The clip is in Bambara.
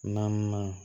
Naaninan